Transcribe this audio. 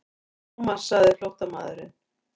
Thomas sagði flóttamaðurinn.